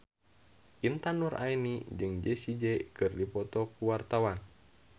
Intan Nuraini jeung Jessie J keur dipoto ku wartawan